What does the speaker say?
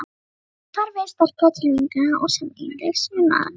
Kynlíf er farvegur sterkra tilfinninga og sameiginlegs unaðar.